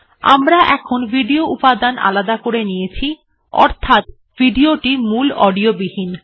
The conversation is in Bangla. আমরা এখন ভিডিও উপাদান আলাদা করে নিয়েছি অর্থাৎ ভিডিওটি মূল অডিও বিহীন